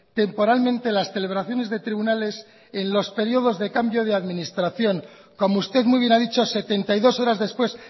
temporalmente las celebraciones de tribunales en los periodos de cambio de administración como usted muy bien ha dicho setenta y dos horas después